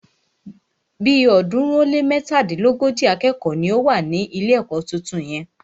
Bí ọ̀ọ́dúnrún ó lé mẹ́tàdínlógójì akẹ́kọ̀ọ́ ni ó wà ní ilé ẹ̀kọ́ tuntun yẹn.